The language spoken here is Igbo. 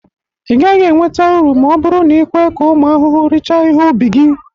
ị gaghị enweta uru ma ọ bụrụ na i kwe ka ụmụ ahụhụ richaa ihe ubi gị.